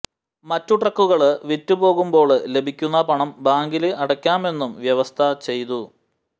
മറ്റ് ട്രക്കുകള് വിറ്റു പോകുമ്പോള് ലഭിക്കുന്ന പണം ബാങ്കില് അടയ്ക്കാമെന്നും വ്യവസ്ഥ ചെയ്തു